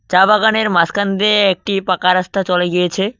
চা বাগানের মাঝখান দিয়ে একটি পাকা রাস্তা চলে গিয়েছে।